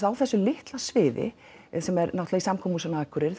á þessu litla sviði í samkomuhúsinu á Akureyri